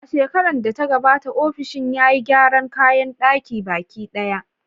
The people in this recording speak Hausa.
A shekarar da ta gabata, ofishin ya yi gyaran kayan ɗakin baki ɗaya.